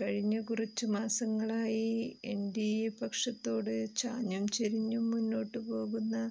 കഴിഞ്ഞ കുറച്ചു മാസങ്ങളായി എന്ഡിഎ പക്ഷത്തോട് ചാഞ്ഞും ചെരിഞ്ഞും മുന്നോട്ടുപോകുന്ന